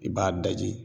I b'a daji